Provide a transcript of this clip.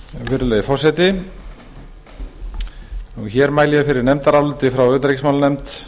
virðulegi forseti hér mæli ég fyrir nefndaráliti frá utanríkismálanefnd